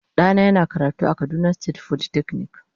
Dana yana karatu a kaduna state folytechnic.